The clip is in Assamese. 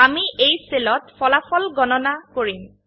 আমি এই সেল ত ফলাফল গণনা কৰিম